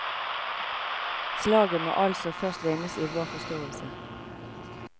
Slaget må altså først vinnes i vår forståelse.